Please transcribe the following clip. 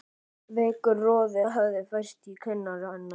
Veikur roði hafði færst í kinnar hennar.